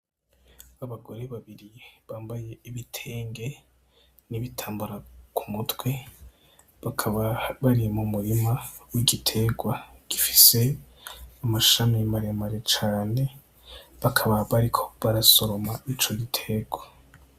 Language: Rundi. Abagore babiri bambaye ibitenge, n'ibitambara ku mutwe bakaba bari mu murima igitegwa gifise amashami maremare cane bakaba bariko barasoroma ico gitegwa.